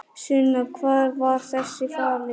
Sunna: Hvar var þessi falinn?